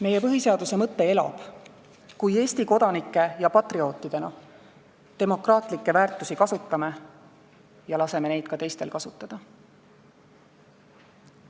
Meie põhiseaduse mõte elab, kui me Eesti kodanike ja patriootidena demokraatlikke väärtusi kasutame ja laseme neid ka teistel kasutada.